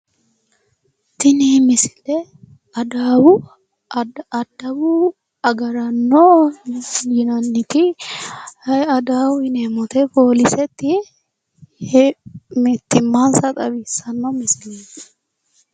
Tini misile adawu agaraano yinanniti adawu yineemmo woyiite pooliseti mittimmansa xawissanno misileeti.